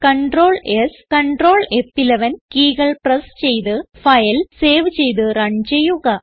Ctrl S Ctrl ഫ്11 കീകൾ press ചെയ്ത് ഫയൽ സേവ് ചെയ്ത് റൺ ചെയ്യുക